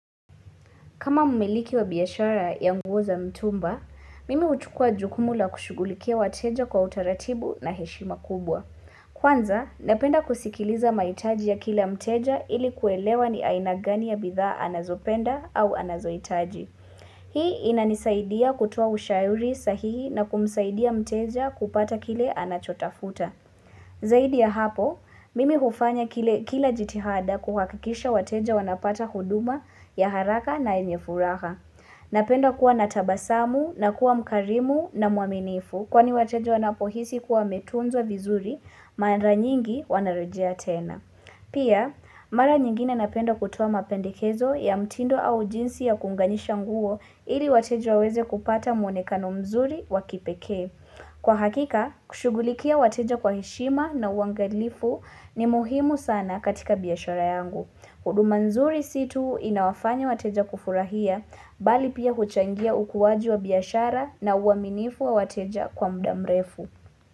Kama umiliki wa biyashara ya nguo za mtumba, mimi utukua jukumu la kushugulikia wateja kwa utaratibu na heshima kubwa. Kwanza, napenda kusikiliza maitaji ya kila mteja ili kuelewa ni ainagani ya bidha anazopenda au anazoitaji. Hii inanisaidia kutua ushauri sahihi na kumsaidia mteja kupata kila anachotafuta. Zaidi ya hapo, mimi hufanya kila jitihada kuhakikisha wateja wanapata huduma ya haraka na enye furaha. Napendo kuwa natabasamu na kuwa mkarimu na muaminifu kwani wateja wanapohisi kuwa metunzo vizuri mara nyingi wanarejea tena. Pia, mara nyingine napenda kutuwa mapendikezo ya mtindo au jinsi ya kunganisha nguo ili wateja waweze kupata mwonekano mzuri wakipeke. Kwa hakika, kushughulikia wateja kwa hishima na uangalifu ni muhimu sana katika biyashara yangu. Huduma nzuri situ inawafanya wateja kufurahia, bali pia huchangia ukuwaji wa biyashara na uaminifu wa wateja kwa mdamrefu.